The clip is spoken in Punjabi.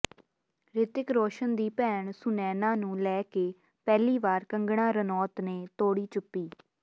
ਰਿਤਿਕ ਰੌਸ਼ਨ ਦੀ ਭੈਣ ਸੁਨੈਨਾ ਨੂੰ ਲੈ ਕੇ ਪਹਿਲੀ ਵਾਰ ਕੰਗਨਾ ਰਨੌਤ ਨੇ ਤੋੜੀ ਚੁੱਪੀ